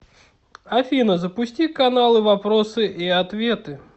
афина запусти каналы вопросы и ответы